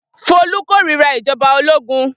Folú kórira ìjọba ológun.